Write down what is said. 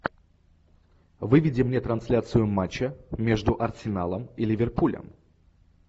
выведи мне трансляцию матча между арсеналом и ливерпулем